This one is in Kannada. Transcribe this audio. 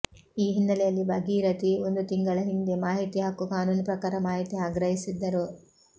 ಈ ಹಿನ್ನೆಲೆಯಲ್ಲಿ ಭಾಗೀರಥಿ ಒಂದು ತಿಂಗಳ ಹಿಂದೆ ಮಾಹಿತಿ ಹಕ್ಕು ಕಾನೂನು ಪ್ರಕಾರ ಮಾಹಿತಿ ಆಗ್ರಹಿಸಿದ್ದರು